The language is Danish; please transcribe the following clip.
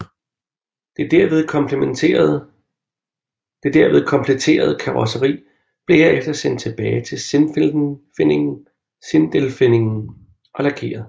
Det derved kompletterede karrosseri blev herefter sendt tilbage til Sindelfingen og lakeret